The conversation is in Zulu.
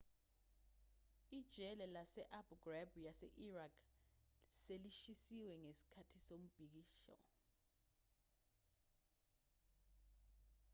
ijele lase-abu ghraib yase-iraq selishisiwe ngesikhathi somubhikisho